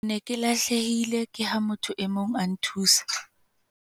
ke ne ke lahlehile ke ha motho e mong a nthusa